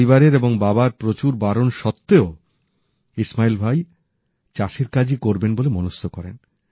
পরিবারের এবং বাবার প্রচুর বারণ সত্ত্বেও ইসমাইল ভাই চাষের কাজই করবেন বলে মনস্থ করেন